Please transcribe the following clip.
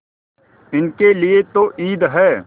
इनके लिए तो ईद है